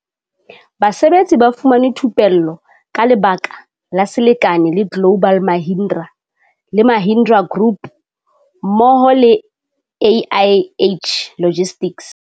Basebetsi ba fumane thupello ka lebaka la selekane le global Mahindra le Mahindra group hammo ho le AIH logistics.